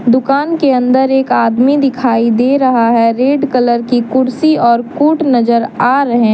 दुकान के अंदर एक आदमी दिखाई दे रहा है रेड कलर की कुर्सी और कूट नजर आ रहे हैं।